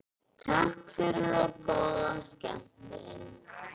Takk fyrir og góða skemmtun.